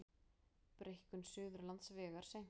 Breikkun Suðurlandsvegar seinkar